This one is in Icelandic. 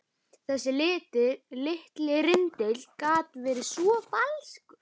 Þessi litli rindill gat verið svo falskur.